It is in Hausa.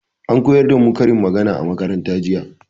An koyar da mu karin magana a makaranta jiya.